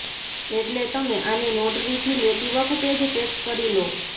એટલે તમે આને નોટરીથી લેતી વખતે જ ચેક કરી લો